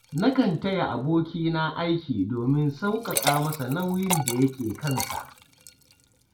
Nakan taya abokina aiki domin sauƙaƙa masa nauyin da yake kan sa.